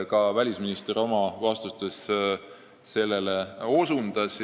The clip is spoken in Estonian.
Ka välisminister osutas sellele oma vastustes.